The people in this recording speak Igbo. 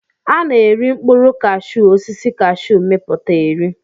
Ana eri mkpụrụ kashu osisi kashu miputa eri.